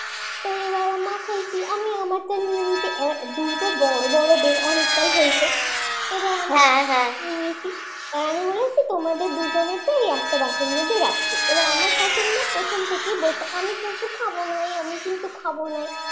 দুটো নিয়ে নিয়েছে এবার দুটো বড় বড় বেল অনেকটাই হয়েছে এবার আমি নিয়েছি আমি বলেছি তোমাদের দুজনের টাই একটা বাটির মধ্যে রেখেছি আমার শাশুড়ি প্রথম থেকেই বলছে আমি কিন্তু খাব নাই আমি কিন্তু খাব নাই